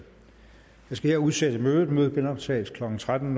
jeg skal her udsætte mødet mødet genoptages klokken tretten